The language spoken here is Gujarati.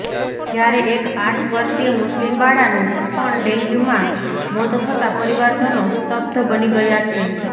જયારે એક આઠ વર્ષિય મુસ્લિમ બાળાનું પણ ડેન્ગ્યુમાં મોત થતાં પરિવારજનો સ્તબ્ધ બની ગયા છે